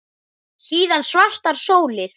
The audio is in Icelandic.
Síðan svartar sólir.